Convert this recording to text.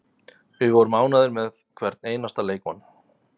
Við vorum ánægðir með hvern einasta leikmann.